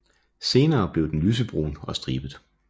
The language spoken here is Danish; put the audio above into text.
Senere bliver den lysebrun og stribet